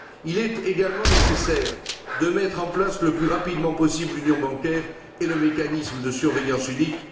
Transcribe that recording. Il est également nécessaire de mettre en place le plus rapidement possible l'union bancaire et le mécanisme de surveillance unique.